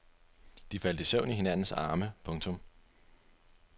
De faldt i søvn i hinandens arme. punktum